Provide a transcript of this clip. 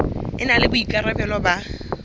e na le boikarabelo ba